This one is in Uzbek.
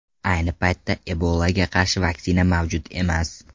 Ayni paytda Ebolaga qarshi vaksina mavjud emas.